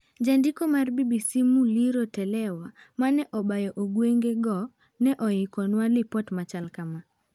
Jandiko mar BBC Muliro Telewa ,mane obayo ogwenge go ,ne oikonwa lipot machalo kam.